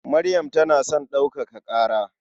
Maryam tana son ɗaukaka ƙara.